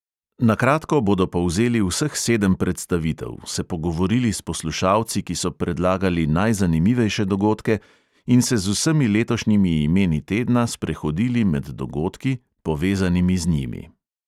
Na kratko bodo povzeli vseh sedem predstavitev, se pogovorili s poslušalci, ki so predlagali najzanimivejše dogodke, in se z vsemi letošnjimi imeni tedna sprehodili med dogodki, povezanimi z njimi.